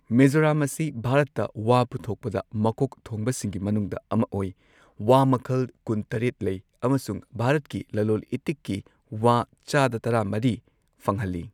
ꯃꯤꯖꯣꯔꯥꯝ ꯑꯁꯤ ꯚꯥꯔꯠꯇ ꯋꯥ ꯄꯨꯊꯣꯛꯄꯗ ꯃꯀꯣꯛ ꯊꯣꯡꯕꯁꯤꯡꯒꯤ ꯃꯅꯨꯡꯗ ꯑꯃ ꯑꯣꯏ, ꯋꯥ ꯃꯈꯜ ꯀꯨꯟ ꯇꯔꯦꯠ ꯂꯩ, ꯑꯃꯁꯨꯡ ꯚꯥꯔꯠꯀꯤ ꯂꯂꯣꯟ ꯏꯇꯤꯛꯀꯤ ꯋꯥ ꯆꯥꯗ ꯇꯔꯥ ꯃꯔꯤ ꯐꯪꯍꯜꯂꯤ꯫